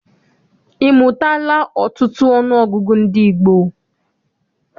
Ị mụtala ọtụtụ ọnụọgụgụ ndị gboo?